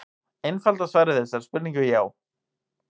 Einfalda svarið við þessari spurningu er já.